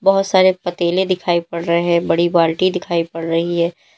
बहुत सारे पतीले दिखाई पड़ रहे हैं बड़ी बाल्टी दिखाई पड़ रही है।